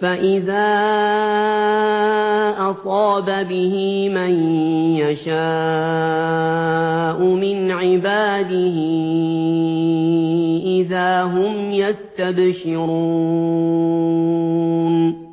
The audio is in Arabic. فَإِذَا أَصَابَ بِهِ مَن يَشَاءُ مِنْ عِبَادِهِ إِذَا هُمْ يَسْتَبْشِرُونَ